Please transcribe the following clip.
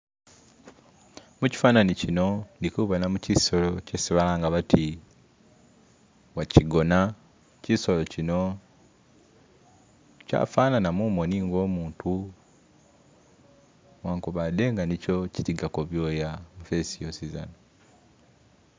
Kukyifananyi kino indikubonamo kisolo kyesi balanga bati wakigona. Kisolo kino kyafanana mumoni nga umuntu newankubade nga nisho kiligako byoya mu fessi yosizana.